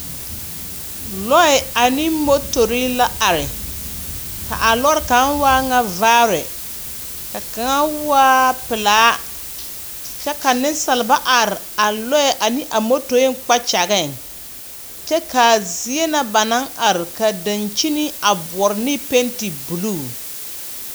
Lɔɛɛ ane motori la are. Ka a lɔre kaŋa waa ŋa vaare, ka kaŋa waa pelaa. Kyɛ ka nensalba are a lɔɛ a aneva motoeŋ kpakyageŋ. Kyɛ kaa zie na ba naŋ are ka dankyini a boɔre ne pente buluu.